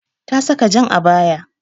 Ta saka jan abaya.